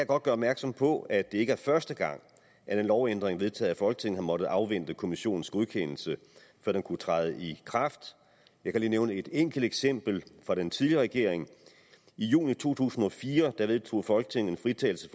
godt gøre opmærksom på at det ikke er første gang at en lovændring vedtaget af folketinget har måttet afvente kommissionens godkendelse før den kunne træde i kraft jeg kan lige nævne et enkelt eksempel fra den tidligere regering i juni to tusind og fire vedtog folketinget en fritagelse